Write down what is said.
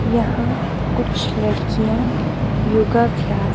यहां कुछ लड़कियां योगा अभ्यास--